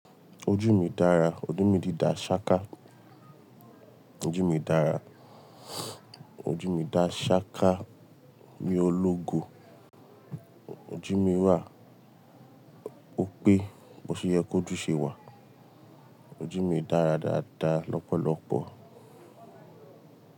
Ojú mi dára, ojú mi ti dá ṣáká. Ojú mi dára, ojú mi dá ṣáká mi o lógo. Ojú mi wà ó pé bo ṣe yẹ kó jù ṣe wà. Ojú mi dára dáadáa lọ́pọ̀lọpọ̀